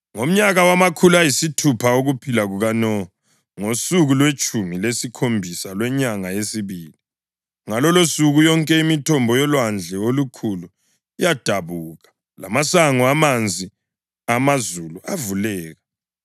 Ngomnyaka wamakhulu ayisithupha wokuphila kukaNowa, ngosuku lwetshumi lesikhombisa lwenyanga yesibili, ngalolosuku yonke imithombo yolwandle olukhulu yadabuka, lamasango amanzi amazulu avuleka.